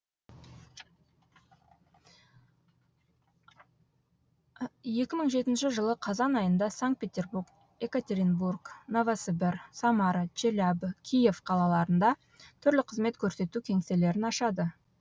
екі мың жетінші жылы қазан айында санкт петербург екатеринбург новосібір самара челябі киев қалаларында түрлі қызмет көрсету кеңселерін ашады